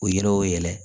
O yiriw yɛlɛ